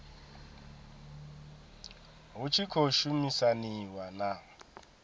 hu tshi khou shumisaniwa na